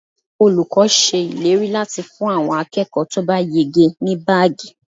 Olùkọ́ ṣe ìlérí láti fún àwọn akẹ́kọ̀ọ́ to ba yege ní baagi.